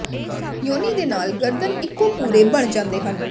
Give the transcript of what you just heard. ਯੋਨੀ ਦੇ ਨਾਲ ਗਰਦਨ ਇਕੋ ਪੂਰੇ ਬਣ ਜਾਂਦੇ ਹਨ